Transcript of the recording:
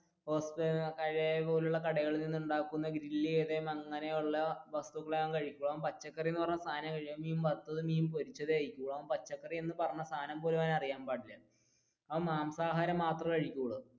വസ്തുക്കളെ അവൻ കഴിക്കുക അവൻ മാംസ ആഹാരം മാത്രമേ കഴിക്കൂള്